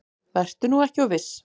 Vertu nú ekki of viss.